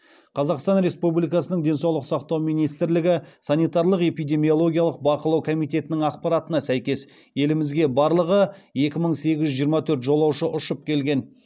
қазақстан республикасының денсаулық сақтау министрлігі санитарлық эпидемиологиялық бақылау комитетінің ақпаратына сәйкес елімізге барлығы екі мың сегіз жүз жиырма төрт жолаушы ұшып келген